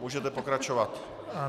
Můžete pokračovat.